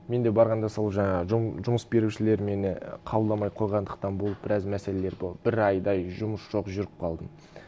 мен де барғанда сол жаңағы жұмыс берушілер мені қабылдамай қойғандықтан болып біраз мәселелер болды бір айдай жұмыс жоқ жүріп қалдым